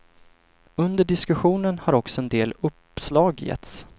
Under diskussionen har också en del uppslag getts.